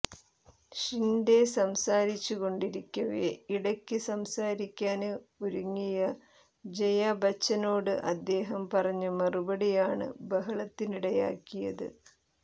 ഷിന്ഡെ സംസാരിച്ചുകൊണ്ടിരിക്കവെ ഇടയ്ക്ക് സംസാരിക്കാന് ഒരുങ്ങിയ ജയാബച്ചനോട് അദ്ദേഹം പറഞ്ഞ മറുപടിയാണ് ബഹളത്തിനിടയാക്കിയത്